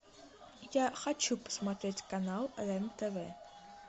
я хочу посмотреть канал рен тв